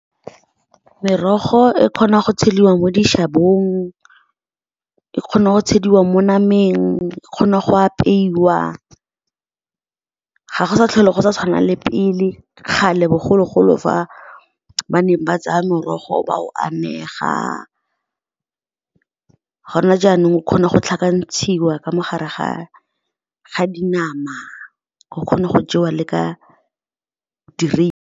Merogo e kgona go tsheliwa mo dishabong, e kgona go tshwaediwa mo nameng, e kgona go apeiwa. Ga go sa tlhole go sa tshwanelang le pele, kgale bogologolo, fa ba neng ba tsaya morogo ba o anega. Go ne jaanong o kgona go tlhakantshiwa ka mo gare ga dinama, o kgona go jewa le ka .